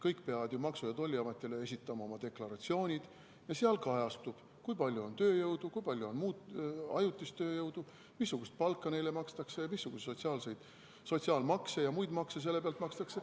Kõik peavad ju Maksu- ja Tolliametile esitama deklaratsioonid ja seal kajastub, kui palju on tööjõudu, kui palju on ajutist tööjõudu, missugust palka neile makstakse ning missuguseid sotsiaalmakse ja muid makse selle pealt makstakse.